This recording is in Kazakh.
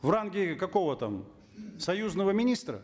в ранге какого там союзного министра